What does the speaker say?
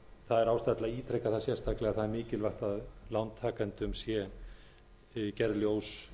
það er ástæða til að ítreka það sérstaklega að það er mikilvægt að lántakendum sé gert ljóst